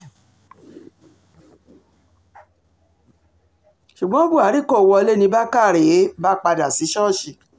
ṣùgbọ́n buhari kò wọlé ni bàkàrẹ um bá padà sí ṣọ́ọ̀ṣì